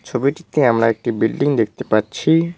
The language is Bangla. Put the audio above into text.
ছবিটিতে আমরা একটি বিল্ডিং দেখতে পাচ্ছি।